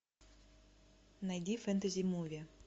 найди фэнтези муви